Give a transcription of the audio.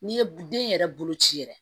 N'i ye den yɛrɛ bolo ci yɛrɛ